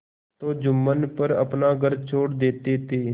तो जुम्मन पर अपना घर छोड़ देते थे